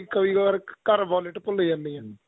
ਕਈ ਵਾਰ ਘਰ violet ਭੁੱਲ ਜਾਂਦੇ ਹਾਂ